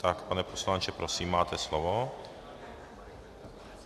Tak, pane poslanče, prosím, máte slovo.